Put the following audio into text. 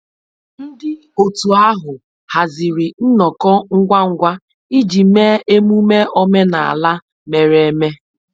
Ndị otu ahụ haziri nnọkọ ngwa ngwa iji mee emume omenala mere eme